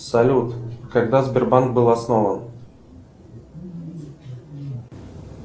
салют когда сбербанк был основан